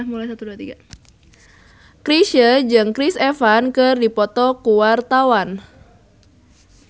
Chrisye jeung Chris Evans keur dipoto ku wartawan